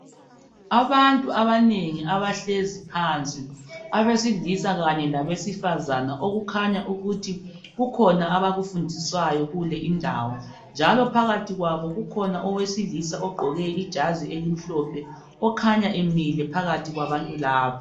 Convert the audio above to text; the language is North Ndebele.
Abantu abanengi abahlezi phansi abesilisa kanye labesifazana okukhanya ukuthi kukhona abakufundiswayo kule indawo njalo phakathi kwabo kukhona owesilisa ogqoke ijazi elimhlophe okhanya emile phakathi kwabantu laba.